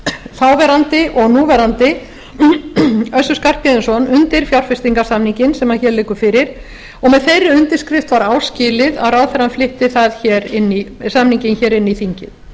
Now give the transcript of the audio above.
þáverandi og núverandi össur skarphéðinsson undir fjárfestingarsamninginn sem hér liggur fyrir og með þeirri undirskrift var áskilið að ráðherrann flytti samninginn hér inn í þingið